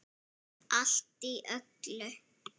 Allt í öllu.